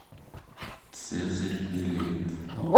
цезарь билет